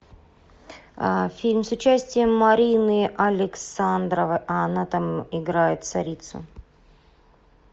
фильм с участием марины александровой она там играет царицу